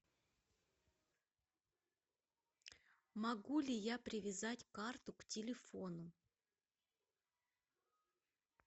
могу ли я привязать карту к телефону